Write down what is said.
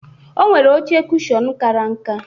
Onwere oche kushon kara nka.